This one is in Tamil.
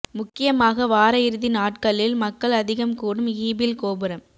முக்கியமாக வார இறுதி நாட்களில் மக்கள் அதிகம் கூடும் ஈபிள் கோபுரம்